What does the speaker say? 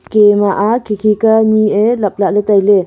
ke ma ah khikhi ka ni ae laple taile.